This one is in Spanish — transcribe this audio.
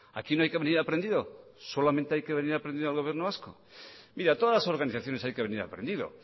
aquí no hay que venir aprendidos solamente hay que venir aprendido al gobierno vasco mire a todas las organizaciones hay que venir aprendido